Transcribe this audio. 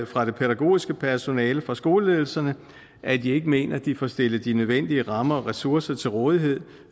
fra det pædagogiske personale og fra skoleledelserne at de ikke mener at de får stillet de nødvendige rammer og ressourcer til rådighed